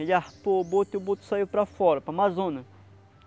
Ele arpou o boto e o boto saiu para fora, para o Amazônia.